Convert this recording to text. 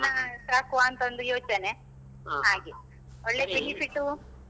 ಒಂದ್ ದನ ಸಾಕುವಾಂತಒಂದು ಯೋಚನೆ ಹಾಗೆ ಒಳ್ಳೆ benefit